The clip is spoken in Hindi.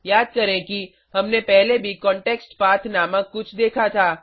याद करें कि हमने पहले भी कॉन्टेक्स्टपथ नामक कुछ देखा था